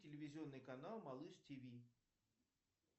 телевизионный канал малыш тв